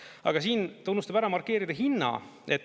Aga siin ta unustab ära markeerida hinna.